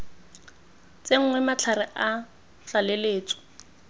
tsenngwe matlhare a tlaleletso a